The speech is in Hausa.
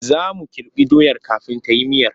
Za mu kirɓa doyar kafin ta yi miyar.